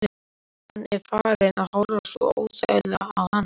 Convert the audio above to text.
Hann er farinn að horfa svo óþægilega á hana.